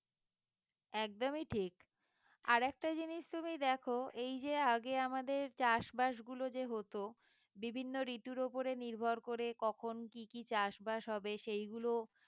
একদমই ঠিক আরেকটা জিনিস তুমি দেখো এই যে আগে আমাদের চাষবাস গুলো যে হতো বিভিন্ন ঋতুর ওপরে নির্ভর করে কখন কি কি চাষবাস হবে সেইগুলো